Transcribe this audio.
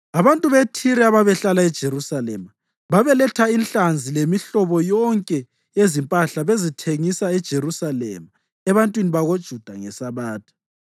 Abantu beThire ababehlala eJerusalema babeletha inhlanzi lemihlobo yonke yezimpahla bezithengisa eJerusalema ebantwini bakoJuda ngeSabatha.